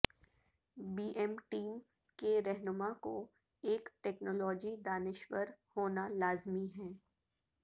be M team کے رہنما کو ایک ٹیکنالوجی دانشور ہونا لازمی ہے